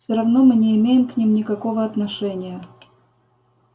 все равно мы не имеем к ним никакого отношения